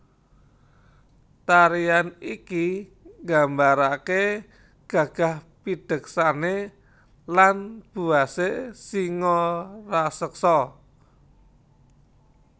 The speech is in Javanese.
Tarian iki nggambarake gagah pideksane lan buwase singa raseksa